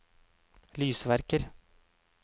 lysverker